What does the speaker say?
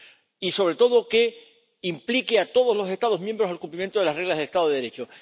y, sobre todo, que implique a todos los Estados miembros en el cumplimiento de las reglas del Estado de Derecho.